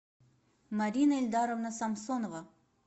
марина эльдаровна самсонова